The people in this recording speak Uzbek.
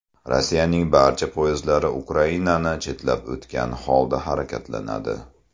Rossiyaning barcha poyezdlari Ukrainani chetlab o‘tgan holda harakatlanadi.